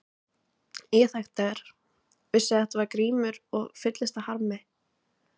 Ég þekkti þær, vissi að þetta var Grímur og fylltist af harmi.